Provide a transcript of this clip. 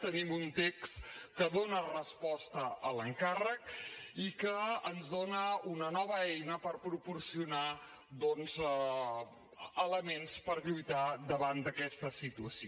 tenim un text que dóna resposta a l’encàrrec i que ens dóna una nova eina per proporcionar elements per lluitar davant d’aquesta situació